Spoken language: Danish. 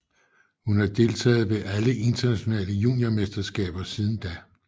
Hun har deltaget ved alle internationale juniormesterskaber siden da